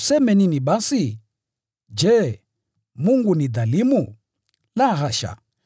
Tuseme nini basi? Je, Mungu ni dhalimu? La, hasha!